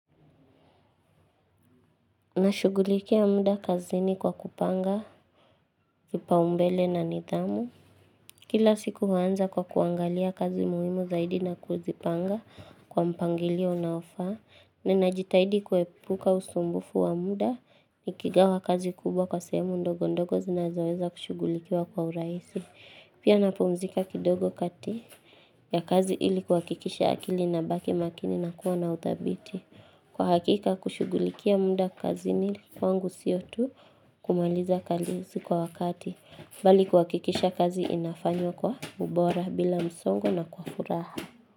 Nashugulikia muda kazini kwa kupanga, kipaumbele na nidhamu. Kila siku huanza kwa kuangalia kazi muhimu zaidi na kuzipanga kwa mpangilio unaofaa. Ninajitahidi kuepuka usumbufu wa muda, nikigawa kazi kubwa kwa sehemu ndogo ndogo zinazoweza kushugulikiwa kwa urahisi. Pia napumzika kidogo kati ya kazi ili kuhakikisha akili inabaki makini na kuwa na udhabiti. Kwa hakika kushugulikia muda kazini kwangu sio tu kumaliza kazi kwa wakati, bali kuhakikisha kazi inafanywa kwa ubora bila msongo na kwa furaha.